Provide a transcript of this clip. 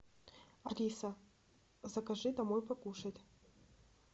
алиса закажи домой покушать